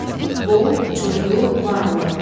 Çox, bol, çoxlu, varlı.